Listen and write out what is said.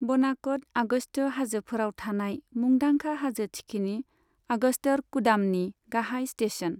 बनाक'डआ अगस्त्य हाजोफोराव थानाय मुंदांखा हाजो थिखिनि, अगस्त्यरकुडामनि गाहाय स्टेशन।